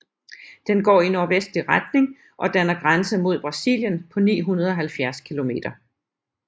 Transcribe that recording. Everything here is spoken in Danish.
Den går i nordvestlig retning og danner grænse mod Brasilien på 970 kilometer